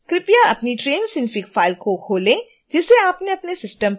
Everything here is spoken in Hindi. कृपया अपनी train synfig फाइल को खोलें जिसे आपने अपने सिस्टम पर सेव किया था